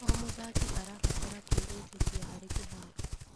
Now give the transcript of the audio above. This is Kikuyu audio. O mũthaki arabatara kwĩĩtĩkia harĩ kĩharo.